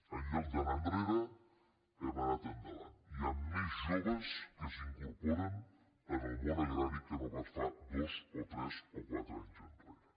en lloc d’anar enrere hem anat endavant hi han més joves que s’incorporen en el món agrari que no pas fa dos o tres o quatre anys enrere